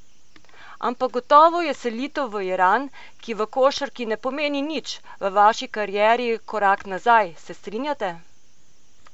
Ampak gotovo je selitev v Iran, ki v košarki ne pomeni nič, v vaši karieri korak nazaj, se strinjate?